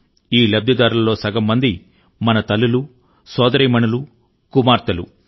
ఈ లబ్దిదారులలో సగం మంది మన తల్లులు సోదరీమణులు కుమార్తెలు